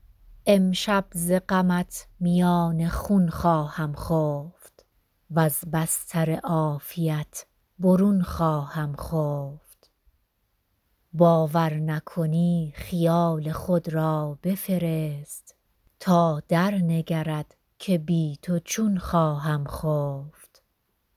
امشب ز غمت میان خون خواهم خفت وز بستر عافیت برون خواهم خفت باور نکنی خیال خود را بفرست تا درنگرد که بی تو چون خواهم خفت